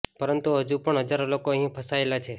પરંતુ હજુ પણ હજારો લોકો અહીં ફસાયેલા છે